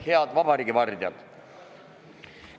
Head vabariigi vardjad!